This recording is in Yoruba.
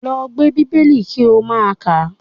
Lọ gbé Bíbélì kí ó máa kàá!